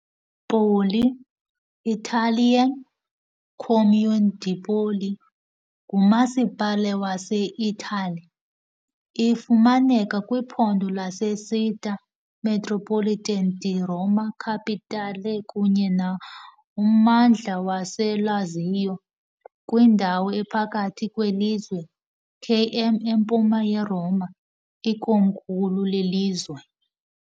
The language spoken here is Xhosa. Poli, Italian Comune di Poli ngumasipala waseItali. Ifumaneka kwiphondo laseCittà metropolitana di Roma Capitale kunye nommandla waseLazio, kwindawo ephakathi kwelizwe, KM empuma yeRoma, ikomkhulu lelizwe.